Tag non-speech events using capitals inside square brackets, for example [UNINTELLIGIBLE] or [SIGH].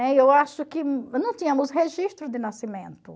[UNINTELLIGIBLE] Eu acho que não tínhamos registro de nascimento.